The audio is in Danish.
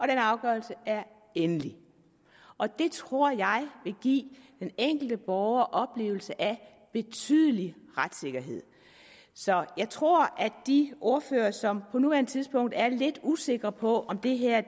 den afgørelse er endelig det tror jeg vil give den enkelte borger oplevelsen af en betydelig retssikkerhed så jeg tror at de ordførere som på nuværende tidspunkt er lidt usikre på om det her